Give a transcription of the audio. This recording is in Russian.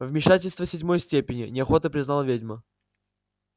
вмешательство седьмой степени неохотно признала ведьма